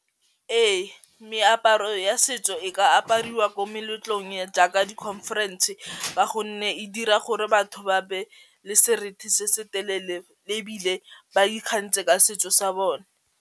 Ee meaparo ya setso e ka apariwa ko meletlong e jaaka di-conference ka gonne e dira gore batho ba be le seriti se se telele le ebile ba ikgantshe ka setso sa bone.